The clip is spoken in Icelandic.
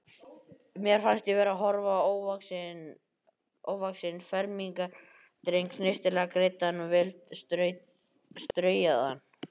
Mér fannst ég vera að horfa á ofvaxinn fermingardreng, snyrtilega greiddan og vel straujaðan.